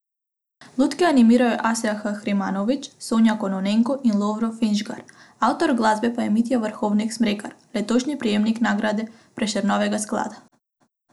Lutke animirajo Asja Kahrimanović, Sonja Kononenko in Lovro Finžgar, avtor glasbe pa je Mitja Vrhovnik Smrekar, letošnji prejemnik nagrade Prešernovega sklada.